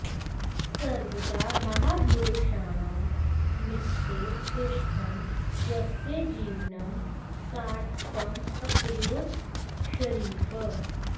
सर्वदा महापुरुषाणां निकटे तिष्ठन् स्वस्य जीवनं सार्थकम् अकरोत् षरीफः